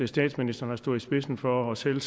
statsministeren har stået i spidsen for og selv